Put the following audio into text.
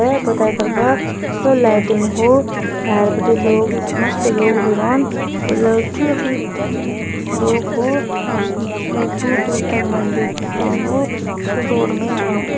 पूरा लाइटिंग हो भैर बिटि लोग मस्त लोग भी रोन ठुला ठुला लोग हो दूर दूर तक मंदिर ।